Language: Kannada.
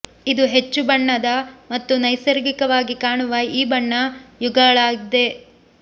ಇದು ಹೆಚ್ಚು ಬಣ್ಣದ ಮತ್ತು ನೈಸರ್ಗಿಕವಾಗಿ ಕಾಣುವ ಈ ಬಣ್ಣ ಯುಗಳಾಗಿದೆ